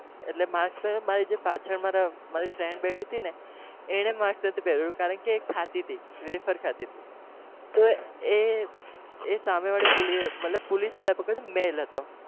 એટેલ mask પહેર્યું હતું મારી જે પાછળ મારા મારી friend બેઠી હતી ને એને mask નહતું પહેર્યું કારણ કે એ ખાતી હતી waffer ખાતી હતી તો એ એ સામેવાળી મતલબ police પકડ્યું male હતો